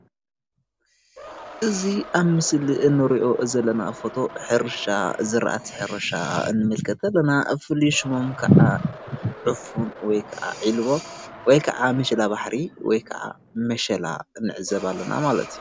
እዚ ኣብ ምስሊ እንሪኦ ዘለና ፎቶ ሕርሻ ዝራእቲ ሕርሻ ንምልከት ኣለና፣ ፍሉይ ሽሞም ክዓ ዕፉን ወይ ክዓ ዒልቦ ወይ ክዓ ምሸላባሕሪ ወይ ከዓ ምሸላ ንዕዘብ ኣለና ማለት እዩ፡፡